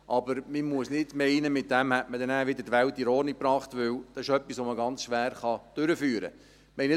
Aber man muss nicht meinen, damit die Welt wieder in Ordnung gebracht zu haben, weil dies etwas ist, das man ganz schwer durchführen kann.